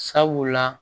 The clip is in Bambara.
Sabula